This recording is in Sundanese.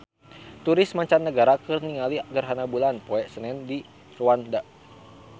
Turis mancanagara keur ningali gerhana bulan poe Senen di Rwanda